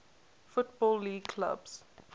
football league clubs